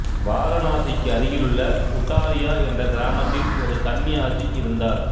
வாரணாசிக்கு அருகிலுள்ள உட்டாரியா என்ற கிராமத்தில் ஒரு சந்நியாசி இருந்தார்